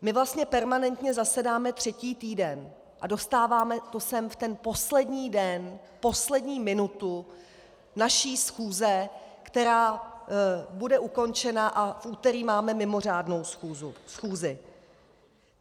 My vlastně permanentně zasedáme třetí týden a dostáváme to sem v ten poslední den, poslední minutu naší schůze, která bude ukončena, a v úterý máme mimořádnou schůzi.